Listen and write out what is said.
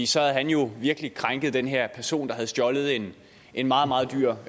så havde han jo virkelig krænket den her person der havde stjålet en en meget meget dyr